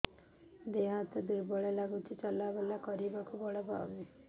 ଦେହ ହାତ ଦୁର୍ବଳ ଲାଗୁଛି ଚଲାବୁଲା କରିବାକୁ ବଳ ପାଉନି